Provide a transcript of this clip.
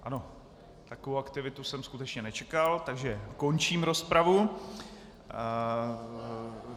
Ano, takovou aktivitu jsem skutečně nečekal, takže končím rozpravu.